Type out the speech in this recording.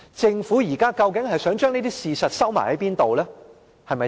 政府現在究竟想將這些事實藏到哪裏？